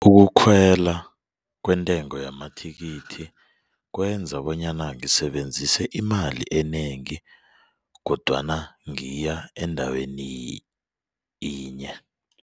Ukukhwela kwentengo yamathikithi kwenza bonyana ngisebenzise imali enengi kodwana ngiya endaweni yinye.